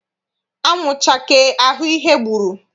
Anwụ chakee a hụ ihe gburu.